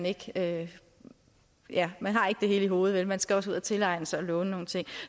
ikke det hele i hovedet man skal også ud og tilegne sig det og låne nogle ting